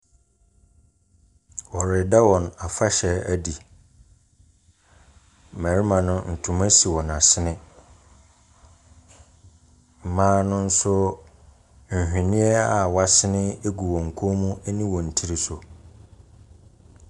Wɔreda wɔn afahyɛ edi. Mbɛrema no ntoma si wɔn asene. Mbaa no so nhweniɛ a wesene egu wɔn kɔn mu ɛne wɔn tiri so.